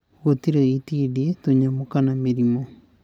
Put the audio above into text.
Gũtirĩ itindiĩ, tũnyamũ, kana mĩrimũ.